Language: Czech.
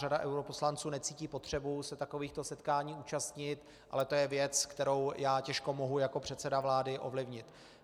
Řada europoslanců necítí potřebu se takovýchto setkání účastnit, ale to je věc, kterou já těžko mohu jako předseda vlády ovlivnit.